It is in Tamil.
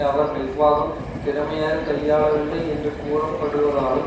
அவர் நிர்வாகம் திறமையாக கையாளவில்லை என்று கூறப்படுவதாலும்